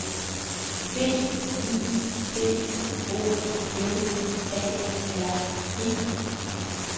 B I P O L A R E